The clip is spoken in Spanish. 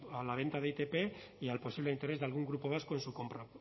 a la venta de itp y al posible interés de algún grupo vasco en su compra